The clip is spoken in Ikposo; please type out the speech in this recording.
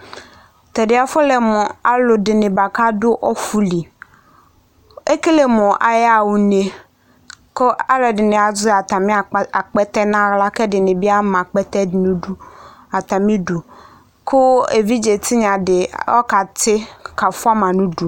tɛdie afɔle mu ɑluadini buaku ɑdu ɔfuliɛkelimu ayaha kune ku ɑluadini aye atamiakpete nɑhla kedini biamatamidu ku ɛvidze tinyadiɔ kɑtikafuamanidu